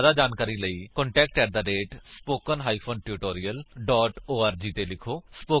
ਜਿਆਦਾ ਜਾਣਕਾਰੀ ਲਈ ਕੰਟੈਕਟ ਸਪੋਕਨ ਟਿਊਟੋਰੀਅਲ ਓਰਗ ਉੱਤੇ ਲਿਖੋ